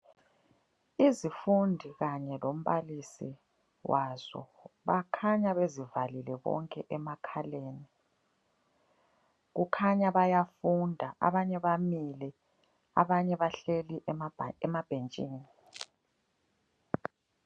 Izifundi kanye lombalisi wazo bakhanya bezivalile bonke emakhaleni. Kukhanya bayafunda abanye bamile, abanye bahleli emabhentshini.